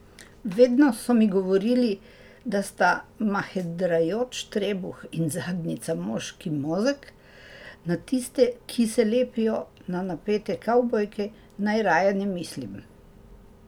Vedno so mi govorili, da sta mahedrajoč trebuh in zadnjica moškim mozeg, na tiste, ki se lepijo na napete kavbojke, naj raje ne mislim.